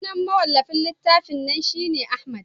sunan mawallafin littafin nan shi ne Ahmad